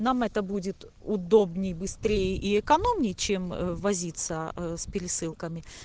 нам это будет удобнее быстрее и экономнее чем возиться ээ с пересылками